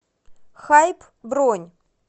хайп бронь